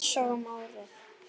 Einsog um árið.